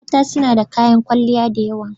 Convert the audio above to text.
Mata suna da kayan kwalliya da yawa.